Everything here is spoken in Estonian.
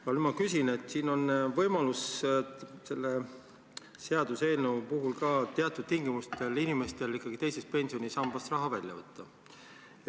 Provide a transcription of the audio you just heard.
Aga nüüd ma küsin selle kohta, et selle seaduseelnõu puhul on teatud tingimustel võimalik inimestel ikkagi teisest pensionisambast raha välja võtta.